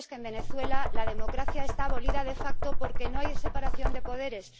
cierto es que en Venezuela la democracia está abolida de facto porque no hay separación de poderes.